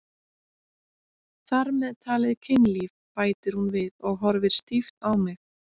Þar með talið kynlíf, bætir hún við og horfir stíft á mig.